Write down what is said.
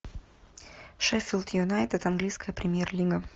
шеффилд юнайтед английская премьер лига